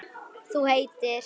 Þú heitir?